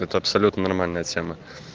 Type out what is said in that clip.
это абсолютно нормальная тема